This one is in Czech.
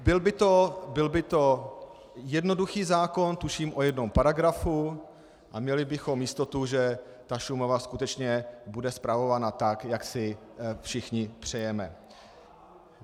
Byl by to jednoduchý zákon, tuším o jednom paragrafu, a měli bychom jistotu, že ta Šumava skutečně bude spravována tak, jak si všichni přejeme.